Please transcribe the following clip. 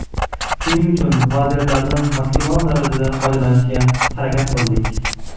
Shuning uchun vaziyatlardan maksimal darajada foydalanishga harakat qildik.